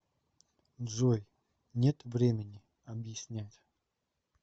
джой нет времени объяснять